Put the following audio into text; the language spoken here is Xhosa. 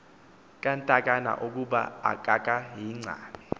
kantakana ukuba akakayincami